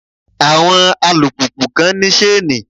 Àwọn alùpùpù kan ní ṣéènì.